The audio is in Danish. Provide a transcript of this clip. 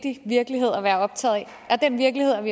er optaget af virkeligheden